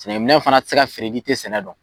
Sɛnɛkɛ minɛn fana ti se ka feere n'i tɛ sɛnɛ dɔn.